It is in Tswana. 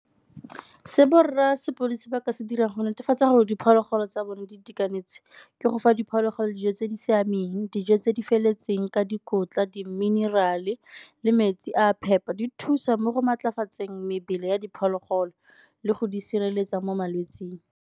Se borra sepodisi ba ka se dirang go netefatsa gore diphologolo tsa bone di itekanetse, ke go fa diphologolo dijo tse di siameng, dijo tse di feletseng ka dikotla, di-mineral-e le metsi a a phepa. Di thusa mo go maatlafatseng mebele ya diphologolo le go di sireletsa mo malwetsing.